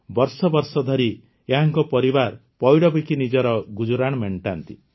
ବର୍ଷବର୍ଷ ଧରି ଏହାଙ୍କ ପରିବାର ପଇଡ଼ ବିକି ନିଜର ଗୁଜରାଣ ମେଣ୍ଟାନ୍ତି